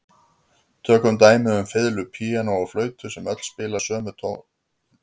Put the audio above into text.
Tökum dæmi um fiðlu, píanó og flautu sem öll spila sömu nótuna.